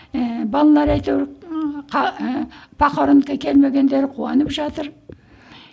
ііі балалары ы ыыы похоронка келмегендері куанып жатыр